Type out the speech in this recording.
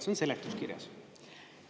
See on seletuskirjas.